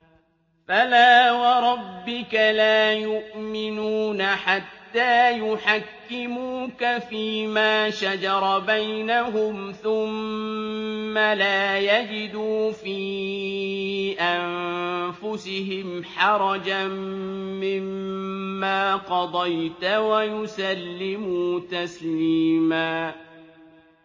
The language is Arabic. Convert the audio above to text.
فَلَا وَرَبِّكَ لَا يُؤْمِنُونَ حَتَّىٰ يُحَكِّمُوكَ فِيمَا شَجَرَ بَيْنَهُمْ ثُمَّ لَا يَجِدُوا فِي أَنفُسِهِمْ حَرَجًا مِّمَّا قَضَيْتَ وَيُسَلِّمُوا تَسْلِيمًا